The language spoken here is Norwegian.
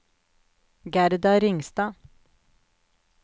Gerda Ringstad